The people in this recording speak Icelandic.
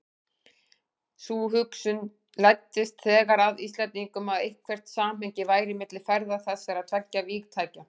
Sú hugsun læddist þegar að Íslendingum, að eitthvert samhengi væri milli ferða þessara tveggja vígtækja.